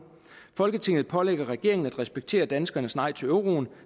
folketinget pålægger regeringen at respektere danskernes nej til euroen